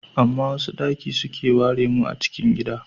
Amma wasu daki suke ware mu a cikin gida.